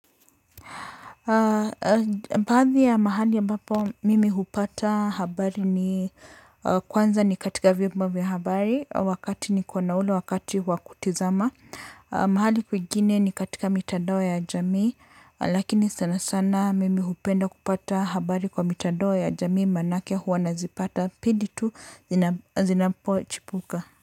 Baadhi ya mahali ambapo mimi hupata habari ni kwanza ni katika vyombo vya habari wakati niko na ule wakati wakutazama. Mahali kuingine ni katika mitandao ya jamii lakini sanasana mimi hupenda kupata habari kwa mitandao ya jamii manake huwa nazipata pindi tu zinapochipuka.